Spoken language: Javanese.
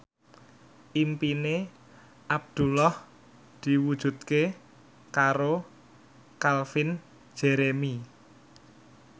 impine Abdullah diwujudke karo Calvin Jeremy